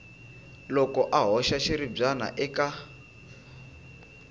loko a hoxa xiribyana eka